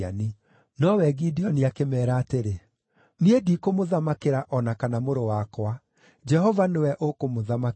Nowe Gideoni akĩmeera atĩrĩ, “Niĩ ndikũmũthamakĩra, o na kana mũrũ wakwa. Jehova nĩwe ũkũmũthamakĩra.”